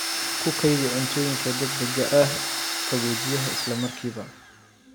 Ku kaydi cuntooyinka degdega ah qaboojiyaha isla markiiba.